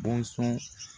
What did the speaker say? Bɔnsɔn